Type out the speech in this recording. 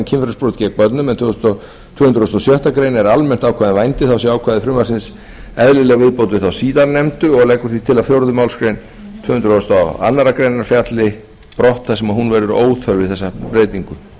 kynferðisbrot gegn börnum en tvö hundruð og sjöttu grein er almennt ákvæði um vændi séu ákvæði frumvarpsins eðlileg viðbót við þá síðarnefndu og því er lagt til að fjórðu málsgrein tvö hundruð og aðra grein falli brott þar sem hún verður óþörf við þessa breytingu